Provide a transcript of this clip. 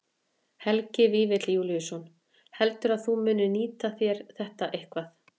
Helgi Vífill Júlíusson: Heldurðu að þú munir nýta þér þetta eitthvað?